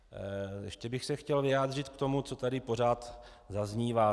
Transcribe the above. Ještě bych se chtěl vyjádřit k tomu, co tady pořád zaznívá.